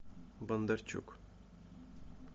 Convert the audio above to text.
бондарчук